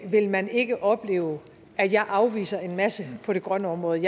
vil man ikke opleve at jeg afviser en masse på det grønne område